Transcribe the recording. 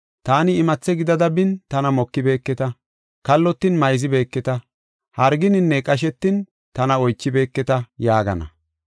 Taani imathe gidada bin tana mokibeketa, kallotin mayzibeeketa, hargininne qashetin tana oychibeeketa’ yaagana.